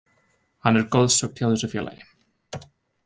Hann er goðsögn hjá þessu félagi.